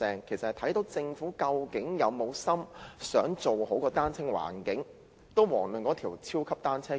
由此可見，政府究竟有沒有心做好單車友善環境，遑論那條超級單車徑了。